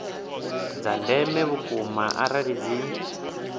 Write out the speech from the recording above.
dza ndeme vhukuma ngauri dzi